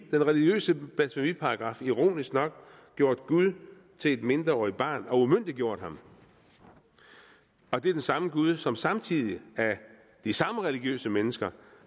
religiøse blasfemiparagraf ironisk nok gjort gud til et mindreårigt barn og umyndiggjort ham og det er den samme gud som samtidig af de samme religiøse mennesker